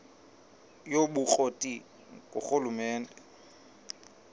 yobukro ti ngurhulumente